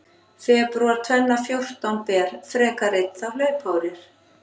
Febrúar tvenna fjórtán ber, frekar einn þá hlaupár er.